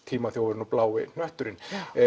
tímaþjófurinn og blái hnötturinn